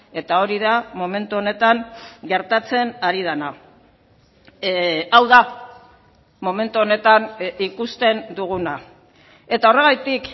eta hori da momentu honetan gertatzen ari dena hau da momentu honetan ikusten duguna eta horregatik